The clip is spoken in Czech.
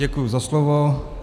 Děkuji za slovo.